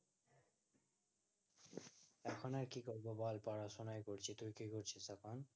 এখন আর কি করবো বল পড়াশোনায় চলছে, তুই কি করছিস এখন?